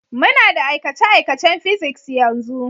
Muna da aikace-aikacen Physics yanzu.